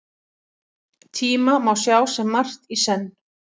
Tíma má sjá sem margt í senn.